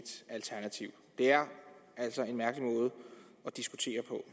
alternativ det er altså en mærkelig måde at diskutere på